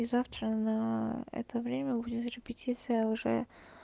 и завтра на это время будет репетиция уже